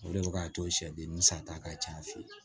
O de bɛ k'a to sɛden ni san ta ka ca an fɛ yen